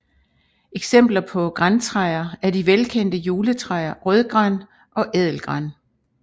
Eksempler på grantræer er de velkendte juletræer rødgran og ædelgran